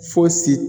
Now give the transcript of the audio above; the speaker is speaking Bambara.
Fo se